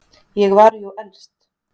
Ég var jú elst.